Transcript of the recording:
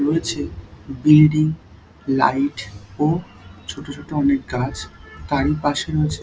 রয়েছে building light ও ছোট ছোট অনেক গাছ তারই পাশে রয়েছে--